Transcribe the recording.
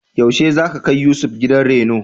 Yaushe za ka kai Yusuf gidan reno?